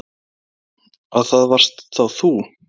Svo. að það varst þá þú?